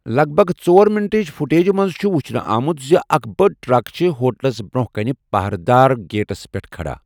لَگ بَگ ژور منٹٕچ فوٹیجہِ منٛز چھُ ؤچھنہٕ آمُت زِ اکھ بٔڑ ٹرک چھِ ہوٹلَس برٛونٛہہ کَنۍ پٔہرٕ دار گیٹَس پٮ۪ٹھ کھڑا۔